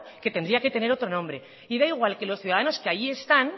que tendría que tener otro nombre y da igual que los ciudadanos que allí están